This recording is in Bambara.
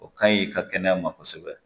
O ka ɲi i ka kɛnɛya ma kosɛbɛ